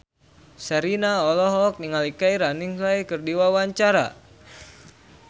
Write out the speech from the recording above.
Sherina olohok ningali Keira Knightley keur diwawancara